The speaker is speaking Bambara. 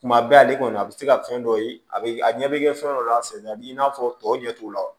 Tuma bɛɛ ale kɔni a bɛ se ka fɛn dɔ ye a bɛ a ɲɛ bɛ kɛ fɛn dɔ la a senna a b'i n'a fɔ tɔw ɲɛ t'o la